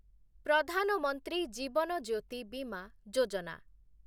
ପ୍ରଧାନ ମନ୍ତ୍ରୀ ଜୀବନ ଜ୍ୟୋତି ବିମା ଯୋଜନା